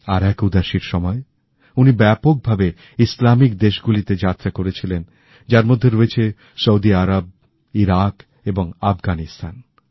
আর এক উদাসীর সময় উনি ব্যাপকভাবে ইসলামিক দেশগুলিতে যাত্রা করেছিলেন যারমধ্যে রয়েছে সৌদি আরব ইরাক এবং আফগানিস্তান